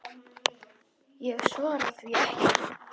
Ég svara því ekki.